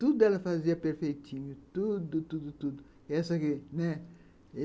Tudo ela fazia perfeitinho, tudo, tudo, tudo. Essa aqui, né.